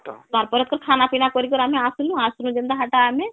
ତାର ପରେ ଖାନା ପିନା କରିକରି ଆମେ ଆସଲୁ ଆସ ନୁ ଯେନ୍ତା ହେଟା ହେଟା ଆମେ